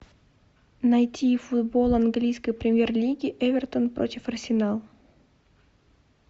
найти футбол английской премьер лиги эвертон против арсенал